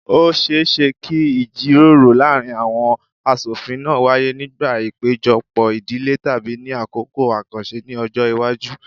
Ó ṣeé ṣe kí ìjíròrò láàárín àwọn aṣofin náà wáyé nígbà ìpéjọpọ̀ ìdílé tàbí ní àkókò àkànṣe ní ọjọ́ iwájú